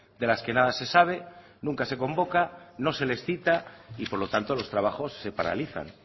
de las que nada se sabe nunca se convoca no se les cita y por lo tanto los trabajos se paralizan